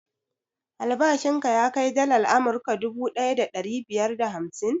Albashin ka ya kai dalar amurka duvu ɗaya da ɗari biyar da hamsin?